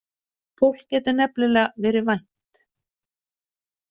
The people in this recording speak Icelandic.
Fólk getur nefnilega verið vænt.